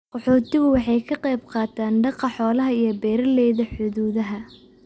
Qaxootigu waxay ka qayb qaataan daaqa xoolaha iyo beeralayda xuduudaha.